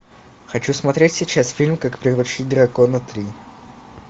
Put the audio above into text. хочу смотреть сейчас фильм как приручить дракона три